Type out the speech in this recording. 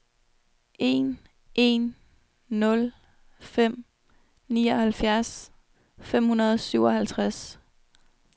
en en nul fem nioghalvfjerds fem hundrede og syvoghalvtreds